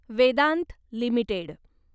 Vedanta limited